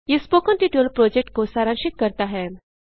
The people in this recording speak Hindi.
यह स्पोकन ट्यटोरियल प्रोजेक्ट को सारांशित करता है